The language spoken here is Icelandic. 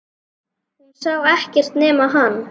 Hún sá ekkert nema hann!